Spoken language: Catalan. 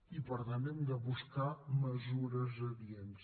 i per tant hem de buscar mesures adients